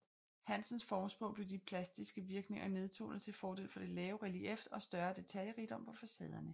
Hansens formsprog blev de plastiske virkninger nedtonet til fordel for det lave relief og større detaljerigdom på facaderne